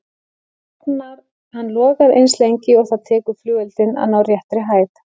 Hann logar eins lengi og það tekur flugeldinn að ná réttri hæð.